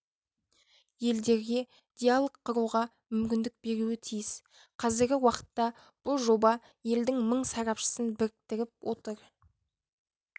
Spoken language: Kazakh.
елдерге диалог құруға мүмкіндік беруі тиіс қазіргі уақытта бұл жоба елдің мың сарапшысын біріктіріп отыр